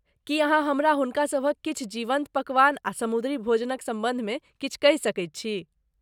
की अहाँ हमरा हुनकासभक किछु जीवन्त पकवान आ समुद्री भोजनक सम्बन्ध मे किछु कहि सकैत छी?